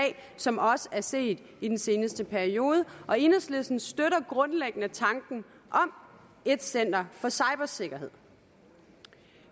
som også er set i den seneste periode og enhedslisten støtter grundlæggende tanken om et center for cybersikkerhed